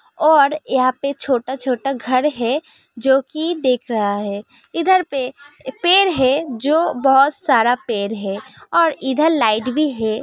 और यहाँ पर छोटा-छोटा घर है जो की देख रहा है | इधर पे पेड़ है जो बहुत सारा पेड़ है और इधर लाइट भी है |